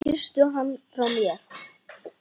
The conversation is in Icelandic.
Kysstu hann frá mér.